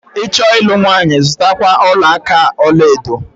Ị chọọ ịlụ nwanyị, zutakwa ọla aka ọlaedo.